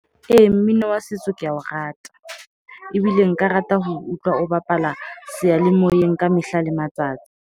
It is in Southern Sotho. Ee, mmino wa setso ke a o rata. Ebile nka rata ho utlwa o bapala seyalemoyeng ka mehla le matsatsi.